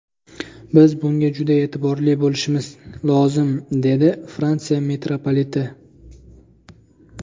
Biz bunga juda e’tiborli bo‘lishimiz lozim”, dedi Fransiya mitropoliti.